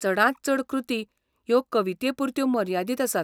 चडांत चड कृती ह्यो कवितेपुरत्यो मर्यादीत आसात.